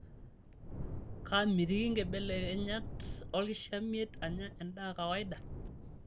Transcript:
Kaamitiki nkibelekenyat olkishamiet anya endaa kawaida?